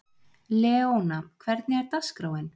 Leona, hvernig er dagskráin?